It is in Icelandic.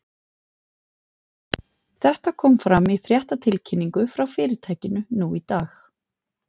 Þetta kom fram í fréttatilkynningu frá fyrirtækinu nú í dag.